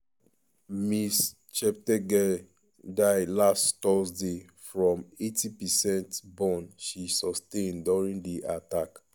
ms cheptegei die last thursday from 80 percent burn she sustain during di attack.